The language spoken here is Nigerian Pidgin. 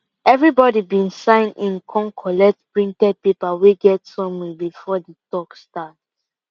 everybody been sign in kon collect printed paper wey get summary before the talk start